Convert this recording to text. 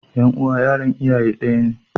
Ƴan uwa yaran iyaye ɗaya ne.